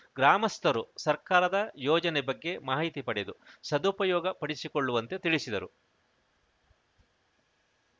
ಗ್ರಾಮಸ್ಥರು ಸರ್ಕಾರದ ಯೋಜನೆ ಬಗ್ಗೆ ಮಾಹಿತಿ ಪಡೆದು ಸದುಪಯೋಗ ಪಡಿಸಿಕೊಳ್ಳುವಂತೆ ತಿಳಿಸಿದರು